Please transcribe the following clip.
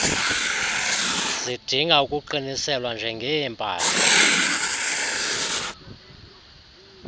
zidinga ukuqiniselwa njengeepahla